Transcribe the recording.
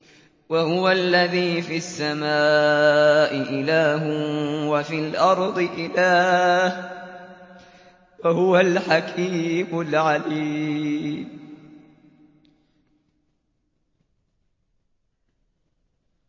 وَهُوَ الَّذِي فِي السَّمَاءِ إِلَٰهٌ وَفِي الْأَرْضِ إِلَٰهٌ ۚ وَهُوَ الْحَكِيمُ الْعَلِيمُ